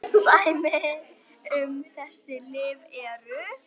Dæmi um þessi lyf eru